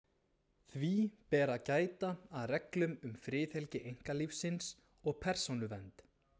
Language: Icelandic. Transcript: Því ber að gæta að reglum um friðhelgi einkalífsins og persónuvernd.